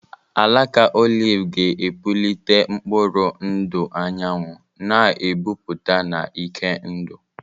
Alaka oliv ga-epulite mkpụrụ ndụ anyanwụ, na-epupụta na ike ndụ.